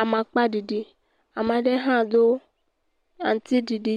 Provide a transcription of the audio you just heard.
amakpa ɖiɖi, ame aɖe hã do awu aŋutiɖiɖi,